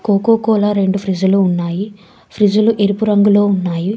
Coca-Cola రెండు ఫ్రిజ్లు ఉన్నాయి ఫ్రిజ్లు ఎరుపు రంగులో ఉన్నాయి.